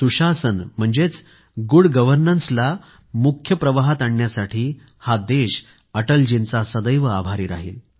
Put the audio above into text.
सुशासन म्हणजेच गुड गर्वनन्सला मुख्यधारेमध्ये आणण्यासाठी हा देश अटलजींचा सदैव आभारी राहील